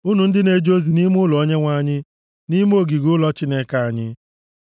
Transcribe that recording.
unu ndị na-eje ozi nʼime ụlọ Onyenwe anyị, nʼime ogige ụlọ Chineke anyị.